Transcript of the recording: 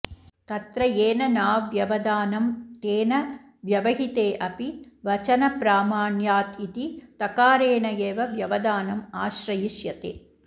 तत्र येन नाव्यवधानं तेन व्यवहिते ऽपि वचनप्रामाण्यातिति तकारेण एव व्यवधानम् आश्रयिष्यते